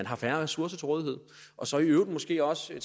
har færre ressourcer til rådighed og så i øvrigt måske også